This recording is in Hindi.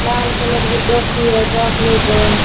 लाल कलर की टोपी है चॉकलेट है।